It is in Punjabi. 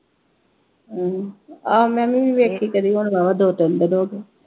ਅਮ ਆਹੋ ਮੈਂ ਵੀ ਵੀ ਵੇਖੀ ਕਦੀ ਹੁਣ ਵਾਹਵਾ ਦੋ ਤਿੰਨ ਹੋ ਗਏ।